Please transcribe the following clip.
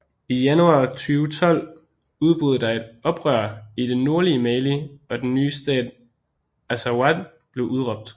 I januar 2012 udbrød der et oprør i det nordlige Mali og den nye stat Azawad blev udråbt